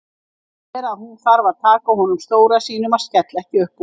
Sér að hún þarf að taka á honum stóra sínum að skella ekki upp úr.